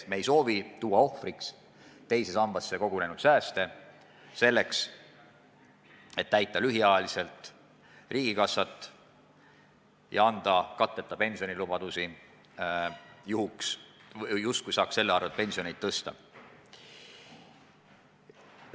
Me ei soovi tuua ohvriks teise sambasse kogunenud sääste, selleks et täita lühikeseks ajaks riigikassat ja anda katteta pensionilubadusi, justkui saaks selle abil pensioneid tõsta.